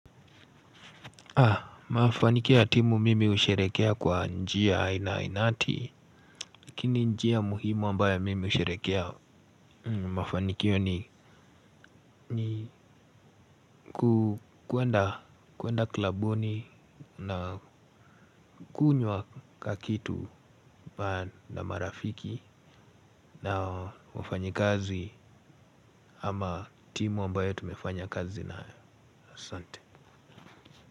Mafanikio ya timu mimi husherehekea kwa njia ina inati. Lakini njia muhimu ambayo mimi husherehekea mafanikio ni kuenda klabuni na kunywa kakitu na marafiki. Na wafanyi kazi ama timu ambayo tumefanya kazi nayo asante.